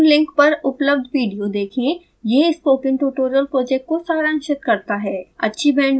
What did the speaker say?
निम्न लिंक पर उपलब्ध विडियो देखें यह स्पोकन ट्यूटोरियल प्रोजेक्ट को सारांशित करता है